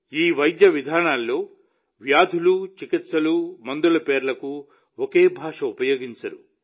ఈ వైద్య విధానాల్లో వ్యాధులు చికిత్సలు మందుల పేర్లకు ఒకే భాష ఉపయోగించరు